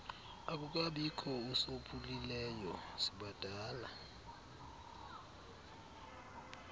akukabikho usophulileyo sibadala